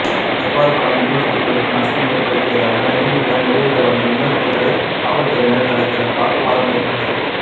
தர்பார் படம் விநியோகிஸ்தர்களுக்கு நஷ்டம் ஏற்படுத்தியதாக ரஜினியிடம் முறையிட வந்த விநியோகிஸ்தர்களை காவல்துறையினர் தடுத்ததால் வாக்குவாதம் ஏற்பட்டது